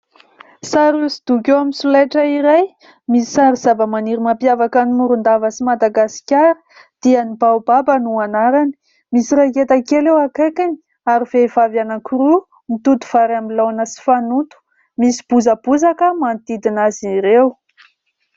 Sary hosodoko eo amin'ny solaitra iray, misy sary zavamaniry mampiavaka an'i Morondava sy Madagasikara dia ny baobaba no anarany. Misy raiketa kely eo akaikiny ary vehivavy anankiroa mitoto vary amin'ny laona sy fanoto, misy bozabozaka manodidina azy ireo.